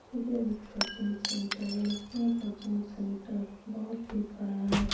यह एक coaching centre है। यह कोचिंग सेंटर बहुत ही बड़ा है।